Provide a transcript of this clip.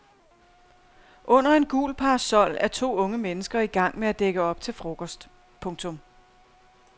Under en gul parasol er to unge mennesker i gang med at dække op til frokost. punktum